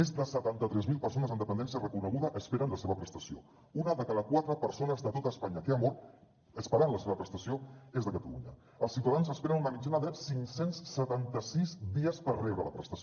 més de setanta tres mil persones amb dependència reconeguda esperen la seva prestació una de cada quatre persones de tot espanya que ha mort esperant la seva prestació és a catalunya els ciutadans esperen una mitjana de cinc cents i setanta sis dies per rebre la prestació